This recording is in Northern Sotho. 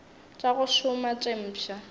tša go šoma tše mpšha